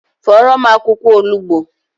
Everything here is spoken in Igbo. Fọrọ m akwụkwọ olugbo